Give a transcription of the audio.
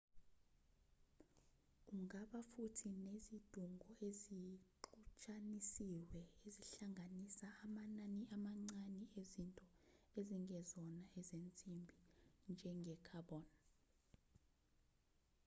ungaba futhi nezidungo ezixutshanisiwe ezihlanganisa amanani amancane ezinto ezingezona ezensimbi njenge-carbon